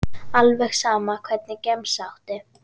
Alveg sama Hvernig gemsa áttu?